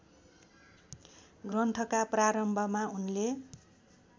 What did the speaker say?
ग्रन्थका प्रारम्भमा उनले